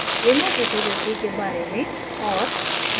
remote repository के बारे में और